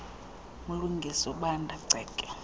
mlungisi ubanda ceke